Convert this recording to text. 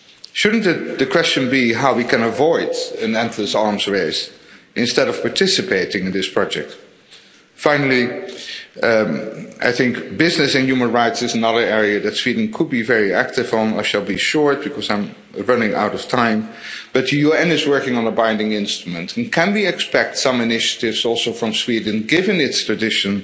Shouldn't the question be how we can avoid an endless arms race instead of participating in this project? Finally, I think business and human rights is another area that Sweden could be very active on. I shall be short, because I am running out of time, but the UN is working on a binding instrument, and can we expect some initiatives also from Sweden, given its tradition,